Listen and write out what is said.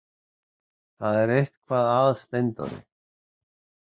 Það er eitthvað að Steindóri!